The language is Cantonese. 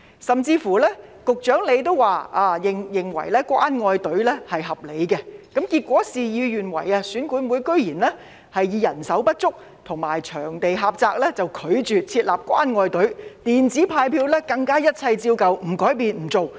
甚至局長也表示，他認為設立"關愛隊"是合理的，但結果事與願違，選管會居然以人手不足及場地狹窄為理由，拒絕設立"關愛隊"，更拒絕使用"電子派票"，一切照舊，不改變、不做。